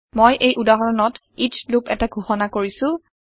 মই এই উদাহৰণত এচ লুপ এটা ঘোষণা কৰিছো